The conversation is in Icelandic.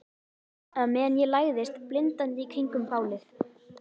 Á meðan ég læðist blindandi í kringum bálið.